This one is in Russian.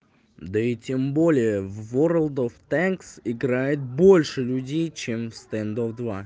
да и тем более в ворлд оф тэнкс играет больше людей чем в стэнд оф два